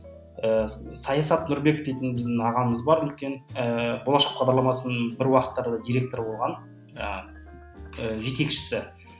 ы саясат нұрбек дейтін біздің ағамыз бар үлкен ыыы болашақ бағдарламасының бір уақыттары директоры болған ыыы жетекшісі